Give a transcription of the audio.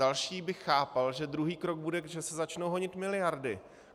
Další bych chápal, že druhý krok bude, že se začnou honit miliardy.